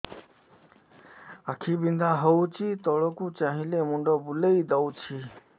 ଆଖି ବିନ୍ଧା ହଉଚି ତଳକୁ ଚାହିଁଲେ ମୁଣ୍ଡ ବୁଲେଇ ଦଉଛି